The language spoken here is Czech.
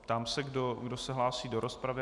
Ptám se, kdo se hlásí do rozpravy.